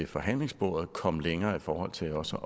forhandlingsbordet kom længere i forhold til også